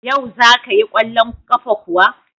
Yau za ka yi kwallon kafa kuwa?